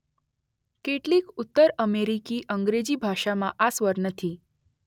કેટલીક ઉત્તર અમેરિકી અંગ્રેજી ભાષામાં આ સ્વર નથી.